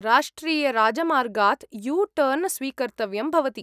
राष्ट्रियराजमार्गात् U turn स्वीकर्तव्यं भवति।